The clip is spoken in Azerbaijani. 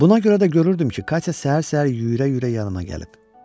Buna görə də görürdüm ki, Katya səhər-səhər yüyürə-yüyürə yanıma gəlib.